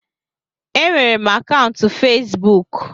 Enwere m akaụntụ Fesbụụk